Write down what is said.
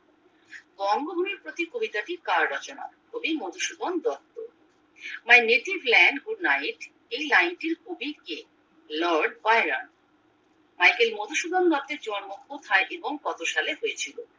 বঙ্গভূমির প্রতি কবিতাটি কার রচনা কবি Madhusudan Dutta my native language good night এই লাইন টির কবি কে লর্ড কয়রা মাইকেল মধুসূধন দত্তের জন্ম কোথায় এবং কত সালে হয়েছিল